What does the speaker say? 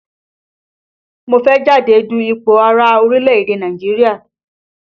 Mo fẹ́ jáde du ipò ààrẹ̀ orílẹ̀ èdè Nàìjíríà